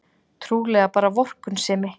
Trúlega bara vorkunnsemi.